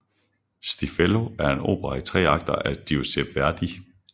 Stiffelio er en opera i tre akter af Giuseppe Verdi